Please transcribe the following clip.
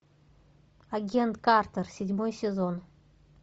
агент картер седьмой сезон